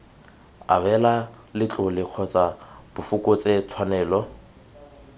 abela letlole kgotsa bfokotse tshwanelo